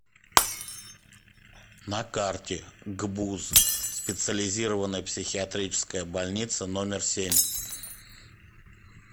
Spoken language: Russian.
на карте гбуз специализированная психиатрическая больница номер семь